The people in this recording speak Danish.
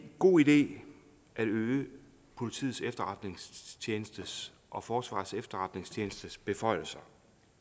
god idé at øge politiets efterretningstjenestes og forsvarets efterretningstjenestes beføjelser